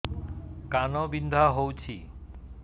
କାନ ବିନ୍ଧା ହଉଛି